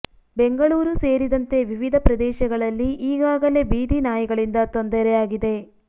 ಬೆಂಗಳೂರು ಸೇರಿದಂತೆ ವಿವಿಧ ಪ್ರದೇಶಗಳಲ್ಲಿ ಈಗಾಗಲೇ ಬೀದಿ ನಾಯಿಗಳಿಂದ ತೊಂದರೆ ಆಗಿದೆ